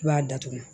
I b'a datugu